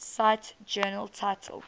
cite journal title